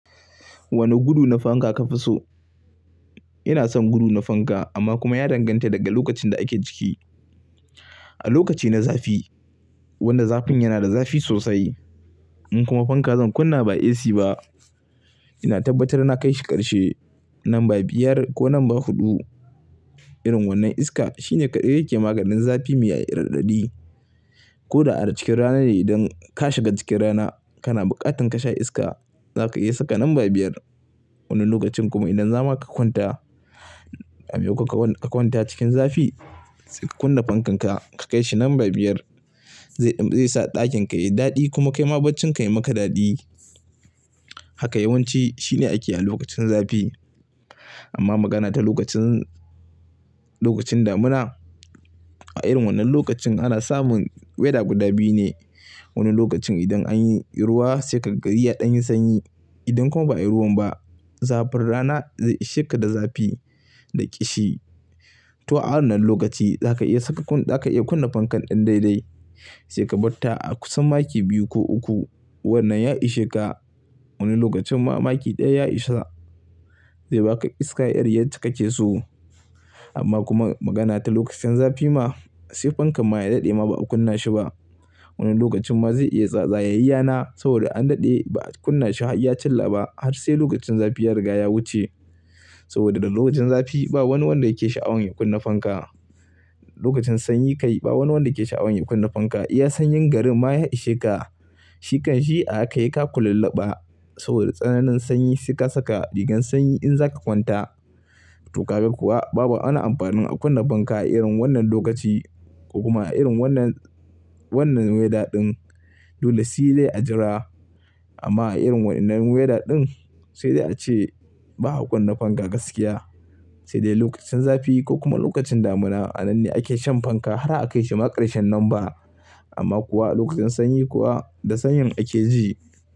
Wane gudu na fanka ka fi so? Ina son gudu na fanka amma kuma ya danganta daga lokacin da ake ciki. A lokaci na zafi, wannan zafin yana da zafi sosai. In kuma fanka zan kunna ba AC ba, ina tabbatar na kai shi ƙarshe number biyar ko number huɗu. Irin wannan iska, shine kaɗai yake maganin zafi mai yayi raɗaɗi. Ko da a cikin rana ne idan ka shiga cikin rana, kana buƙatar ka sha iska, za ka iya saka number biyar. Wani lokacin kuma idan zama ka kwanta, a miyau ka kwanta cikin zafi, sai ka kunna fankan ka, ka kai shi number biyar. Zai, zai sa ɗakin ka yayi daɗi kuma kai ma bacin ka yayi maka daɗi. Haka yawanci, shine ake a lokacin zafi. Amma magana ta lokacin, lokacin damuna, a irin wannan lokacin ana samun weather guda biyu ne. Wani lokacin idan anyi ruwa sai ka iya ɗan yin sanyi. Idan kuma ba'a yi ruwan ba, zafin rana zai ishe ka da zafi da ƙishi. To a wannan lokaci, za ka iya saka kunna, za ka iya kunna fankan ɗan dai dai. Sai ka tabbata a kusan maki biyu ko uku, wannan ya ishe ka. Wani lokacin ma maki ɗaya ya isa. Zai baka iskar yar yadda kake so. Amma kuma magana ta lokacin zafi ma, sai fankan ma ya daɗe ma ba a kunna shi ba. Wani lokacin ma zai iya tsatsaya yayyana, saboda an daɗe ba a kunna shi hayya chilla ba, har sai lokacin zafi ya riga ya wuce. Saboda da lokacin zafi ba wani wanda yake sha'awan ya kunna fanka. Lokacin sanyi kai, ba wani wanda yake sha'awan ya kunna fanka. Iya sanyin garin ma ya ishe ka. Shikan shi aka yi ka kulallaɓa, saboda tsananin sanyi suka saka rigar sanyi in za ka kwanta. To kabe kuwa babu wani amfanin a kunna fanka a irin wannan lokaci, ko kuma a irin wannan, wannan weather ɗin. Dole sai dai a jira. Amma a irin wannan weather ɗin, sai dai ace ba a kunna fanka gaskiya. Sai dai lokacin zafi ko kuma lokacin damuna, a nan ne ake shan fanka har a kai shi ma ƙarshen number. Amma kuwa lokacin sanyi kuwa, da sanyin ake ji.